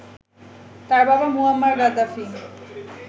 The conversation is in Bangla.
তার বাবা মুয়াম্মার গাদ্দাফি